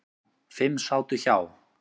Fimm sátu hjá.